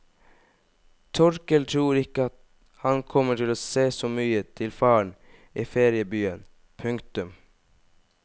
Torkel tror ikke han kommer til å se så mye til faren i feriebyen. punktum